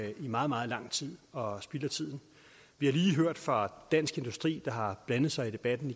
jo i meget meget lang tid og spilder tiden vi har lige hørt fra dansk industri der igen har blandet sig i debatten